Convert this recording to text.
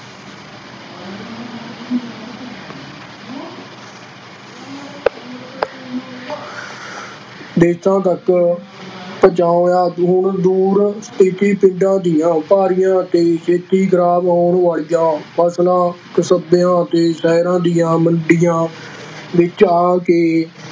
ਦੇਸਾਂ ਤੱਕ ਪਹੁੰਚਾਇਆ, ਦੂਰ ਦੂਰ ਸਥਿੱਤ ਪਿੰਡਾਂ ਦੀਆਂ ਭਾਰੀਆਂ ਅਤੇ ਛੇਤੀ ਖ਼ਰਾਬ ਹੋਣ ਵਾਲੀਆਂ ਫਸਲਾਂ ਕਸਬਿਆਂ ਅਤੇ ਸ਼ਹਿਰਾਂ ਦੀਆਂ ਮੰਡੀਆਂ ਵਿੱਚ ਆ ਕੇ